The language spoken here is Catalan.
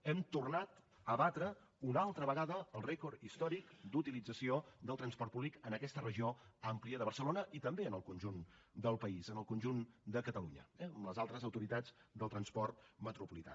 hem tornat a batre una altra vegada el rècord històric d’utilització del transport públic en aquesta regió àmplia de barcelona i també en el conjunt del país en el conjunt de catalunya eh amb les altres autoritats del transport metropolità